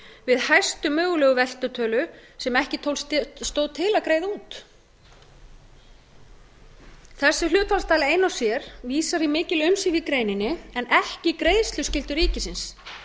við hæstu mögulegu veltutölu sem ekki stóð til að greiða út þessi hlutfallstala ein og sér vísar í mikil umsvif í greininni en ekki greiðsluskyldu ríkisins